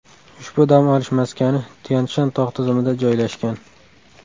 Ushbu dam olish maskani Tyan-Shan tog‘ tizimida joylashgan.